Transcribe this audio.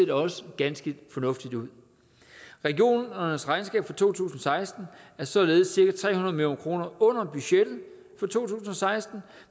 også ser ganske fornuftigt ud regionernes regnskaber for to tusind og seksten er således cirka tre hundrede million kroner under budgettet for to tusind og seksten